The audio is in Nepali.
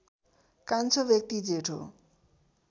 कान्छो व्यक्ति जेठो